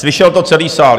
Slyšel to celý sál.